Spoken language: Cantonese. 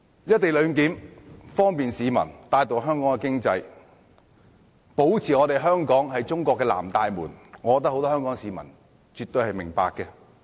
"一地兩檢"的安排方便市民、帶動香港經濟，以及保持香港是中國的"南大門"，我覺得很多香港市民絕對明白。